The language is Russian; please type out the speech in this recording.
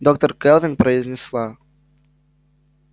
доктор кэлвин произнесла